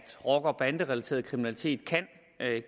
rocker og banderelateret kriminalitet kan